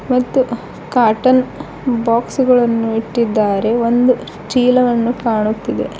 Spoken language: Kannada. ಮತ್ತು ಕಾಟನ್ ಬಾಕ್ಸ್ ಗಳನ್ನು ಇಟ್ಟಿದ್ದಾರೆ ಒಂದು ಚೀಲವನ್ನು ಕಾಣುತ್ತಿದೆ.